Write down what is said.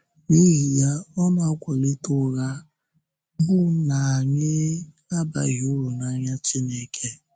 N’ihi ya, ọ na-akwálite ụgha bụ́ na anyị abaghị uru n’anya Chineke.